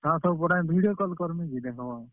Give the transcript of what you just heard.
ହଁ ସବୁ ପଠାମି video call କର୍ ମି ଯେ ଦେଖ୍ ବ।